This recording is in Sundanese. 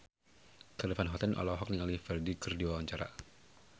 Charly Van Houten olohok ningali Ferdge keur diwawancara